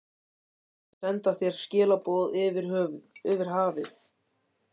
Ég reyndi að senda þér skilaboð yfir hafið.